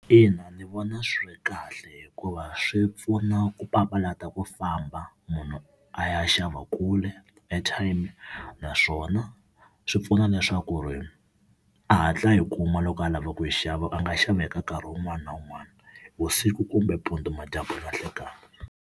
In, a ndzi vona swi ri kahle hikuva swi pfuna ku papalata ku famba munhu a ya xava kule airtime, naswona swi pfuna leswaku ri a hatla a yi kuma loko a lava ku yi xava a nga xaveka nkarhi wun'wani na wun'wani vusiku kumbe mpundu madyambu nanhlekani.